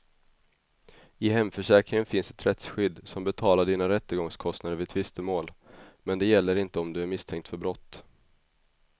I hemförsäkringen finns ett rättsskydd som betalar dina rättegångskostnader vid tvistemål, men det gäller inte om du är misstänkt för brott.